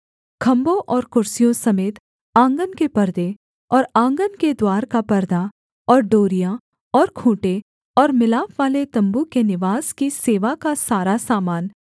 खम्भों और कुर्सियों समेत आँगन के पर्दे और आँगन के द्वार का परदा और डोरियाँ और खूँटे और मिलापवाले तम्बू के निवास की सेवा का सारा सामान